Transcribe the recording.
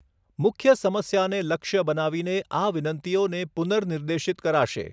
મુખ્ય સમસ્યાને લક્ષ્ય બનાવીને આ વિનંતીઓને પુનર્નિર્દેશિત કરો.